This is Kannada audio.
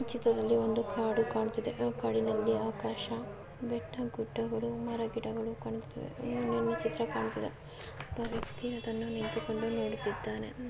ಚಿತ್ರದಲ್ಲಿ ಒಂದು ಕಾಡು ಕಾಣುತ್ತಿದೆ. ಆ ಕಾಡಿನಲ್ಲಿ ಆಕಾಶ ಬೆಟ್ಟ ಗುಡ್ಡಗಳು ಮರೆಗಿಡಗಳು ಕಾಣಿಸುತ್ತವೆ. ಇನ್ನು ಏನ್ ಚಿತ್ರ ಕಾಣಸ್ತೀದೆ ಒಬ್ಬ ವ್ಯಕ್ತಿ ಅದನ್ನು ನಿಂತಿಕೊಂಡು ನೋಡುತಿದ್ದಾನೆ.